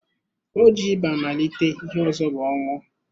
O ji ịba malite, ihe ọzọ bụ ọnwụ.